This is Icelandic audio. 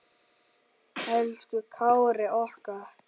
Elsku Kári okkar.